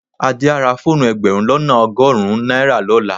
Adé á ra fóònù ẹgbẹ̀rún lọ́nà ọgọ́rùn-ún náírà lọ́la.